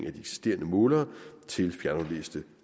af de eksisterende målere til fjernaflæste